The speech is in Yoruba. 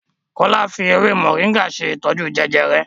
Kola fí ewé Moringa ṣe ìtọjú Jejere.